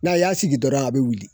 Na y'a sigi dɔrɔn a bɛ wuli